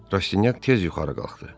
Rastinyak tez yuxarı qalxdı.